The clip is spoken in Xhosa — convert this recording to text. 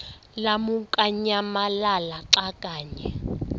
lamukunyamalala xa kanye